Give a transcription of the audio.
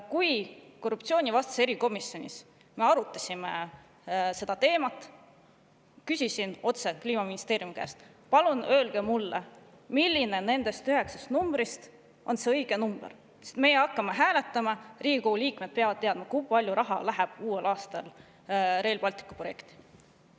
Kui me korruptsioonivastases erikomisjonis arutasime seda teemat, küsisin otse Kliimaministeeriumi käest, et palun öelge mulle, milline nendest üheksast numbrist on see õige number, sest me hakkame hääletama, Riigikogu liikmed peavad teadma, kui palju raha läheb uuel aastal Rail Balticu projekti.